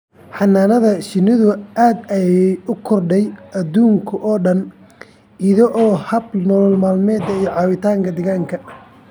Xannaanada shinnidu aad ayay ugu korodhay adduunka oo dhan iyadoo ah hab nolol-maalmeed iyo caawinta deegaanka.